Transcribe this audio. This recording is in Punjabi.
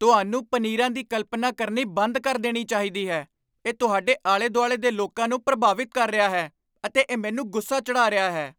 ਤੁਹਾਨੂੰ ਪਨੀਰਾਂ ਦੀ ਕਲਪਨਾ ਕਰਨੀ ਬੰਦ ਕਰ ਦੇਣੀ ਚਾਹੀਦੀ ਹੈ ਇਹ ਤੁਹਾਡੇ ਆਲੇ ਦੁਆਲੇ ਦੇ ਲੋਕਾਂ ਨੂੰ ਪ੍ਰਭਾਵਿਤ ਕਰ ਰਿਹਾ ਹੈ ਅਤੇ ਇਹ ਮੈਨੂੰ ਗੁੱਸਾ ਚੜ੍ਹਾ ਰਿਹਾ ਹੈ